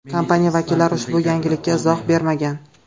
Kompaniya vakillari ushbu yangilikka izoh bermagan.